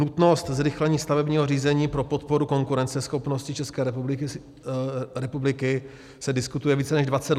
Nutnost zrychlení stavebního řízení pro podporu konkurenceschopnosti České republiky se diskutuje více než 20 let.